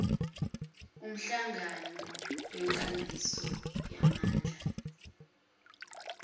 umhlangano wenkambiso yamandla